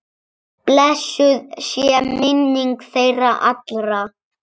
Blessuð sé minning þeirra allra.